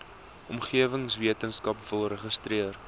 omgewingswetenskap wil registreer